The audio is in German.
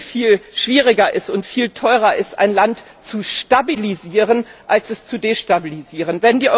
viel schwieriger und viel teurer ist, ein Land zu stabilisieren als es zu destabilisieren.